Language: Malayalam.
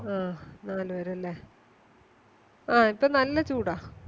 ആ നാല് പേരല്ലേ ആഹ് ഇപ്പൊ നല്ല ചൂട